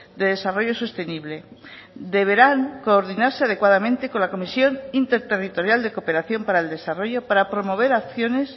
de desarrollo sostenible deberán coordinarse adecuadamente con la comisión interterritorial de cooperación para el desarrollo para promover acciones